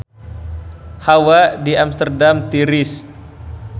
Hawa di Amsterdam tiris